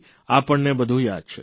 આપણને બધું યાદ છે